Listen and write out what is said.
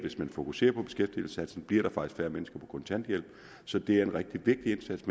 hvis man fokuserer på beskæftigelsesindsatsen bliver der faktisk færre mennesker på kontanthjælp så det er en rigtig vigtig indsats